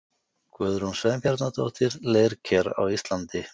Guðrún Sveinbjarnardóttir, Leirker á Íslandi.